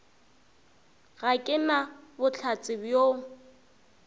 ga ke na bohlatse bjoo